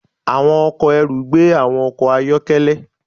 Àwọn ọkọ̀ ẹrù gbé àwọn ọkọ̀ ayọ́kẹ́lẹ́.